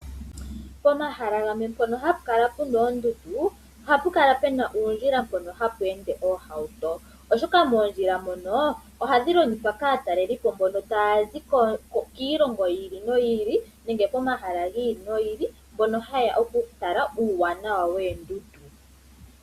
Pomahala gamwe mpono hapu kala puna oondundu ohapu kala puna uundjila mpoka hapu ende oohauto. Oshoka moondjila moka ohadhi longithwa kaatalelipo taya zi kiilongo yiili noyi ili nenge pomahala giili nogiili mbono haya oku tala uuwanawa woondundu.